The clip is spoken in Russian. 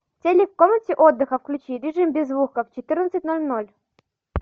телик в комнате отдыха включи режим без звука в четырнадцать ноль ноль